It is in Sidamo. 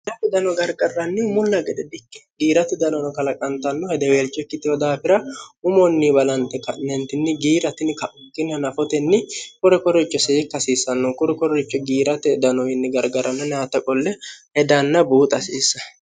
alaki dano garqarrannihu mulla gede dikki giirate danono kalaqantanno hedeweelcho ikkittiho daafira umonni balante ka'nyentinni giiratini ka'unkinih nafotenni qure korricho siekki hasiissanno qure korricho giirate danoyinni gargaranno nyaatta qolle hedanna buuxa hasiissa